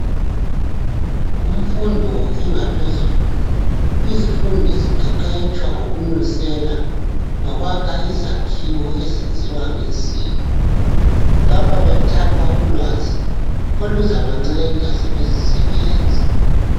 Kumfundo engaphezulu izifundi ziqeqetshwa ngokunusela lokwakha izakhiwo ezenziwa ngensimbi lapha bathapha ulwazi oluzabancenda sebezi sebenza.